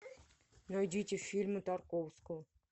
найдите фильмы тарковского